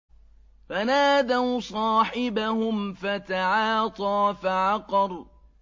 فَنَادَوْا صَاحِبَهُمْ فَتَعَاطَىٰ فَعَقَرَ